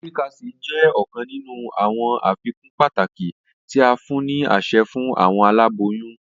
Folic acid jẹ ọkan ninu awọn afikun pataki ti a fun ni aṣẹ fun awọn alaboyun.